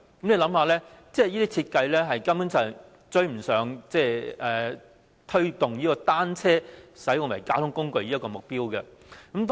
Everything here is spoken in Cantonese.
試想想，這種設計根本無法達致推動單車成為交通工具的目標。